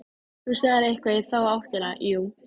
Þú sagðir eitthvað í þá áttina, jú.